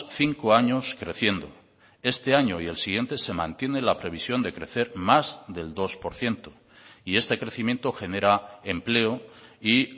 cinco años creciendo este año y el siguiente se mantiene la previsión de crecer más del dos por ciento y este crecimiento genera empleo y